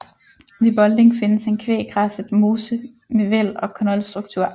Ved Bolding findes en kvæggræsset mose med væld og knoldstruktur